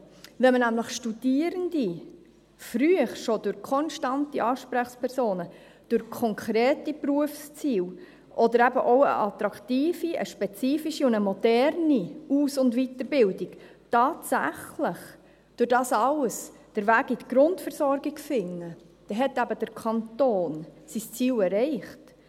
Wenn nämlich Studierende schon früh durch konstante Ansprechpersonen, durch konkrete Berufsziele oder eben auch durch eine attraktive, eine spezifische und eine moderne Aus- und Weiterbildung tatsächlich den Weg in die Grundversorgung finden, dann hat eben der Kanton sein Ziel erreicht.